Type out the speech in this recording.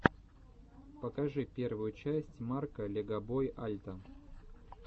покажи первую часть марка легобой альта